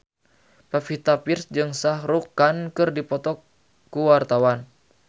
Pevita Pearce jeung Shah Rukh Khan keur dipoto ku wartawan